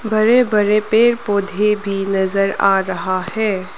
बड़े बड़े पेड़ पौधे भी नजर आ रहा है।